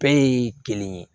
Bɛɛ ye kelen ye